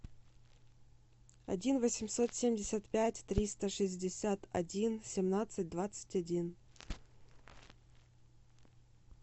один восемьсот семьдесят пять триста шестьдесят один семнадцать двадцать один